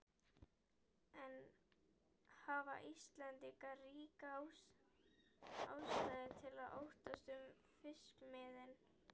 En hafa Íslendingar ríka ástæðu til að óttast um fiskimiðin?